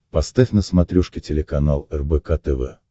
поставь на смотрешке телеканал рбк тв